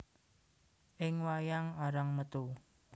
Ing wayang arang metu